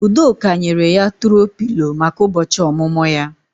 Udoka nyere ya tùro Pịlo maka ụbọchị ọmụmụ ya